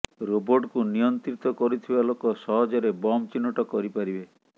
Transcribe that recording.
ରୋବର୍ଟକୁ ନିୟନ୍ତ୍ରିତ କରୁଥିବା ଲୋକ ସହଜରେ ବମ୍ ଚିହ୍ନଟ କରିପାରିବେ